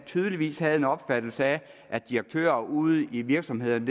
tydeligvis havde en opfattelse af at direktører ude i virksomhederne